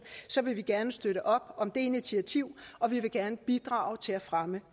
så vil vi gerne støtte op om det initiativ og vi vil gerne bidrage til at fremme